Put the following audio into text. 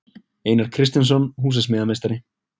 Einar Kristjánsson, húsasmíðameistari.